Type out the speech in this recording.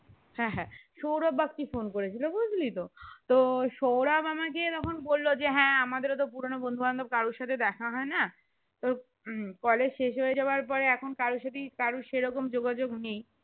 হ্যাঁ হ্যাঁ সৌরভ বাগচী phone করে ছিল বুঝলি তো তো সৌরভ আমাকে তখন বললো যে হ্যাঁ আমাদের ও তো পুরানো বন্ধু বান্ধব কারো সাথে দেখা হয় না তো উহ college শেষ হয়ে যাবে পর এখন কারো সাথে ই কারো সেই রকম যোগাযোগ নেই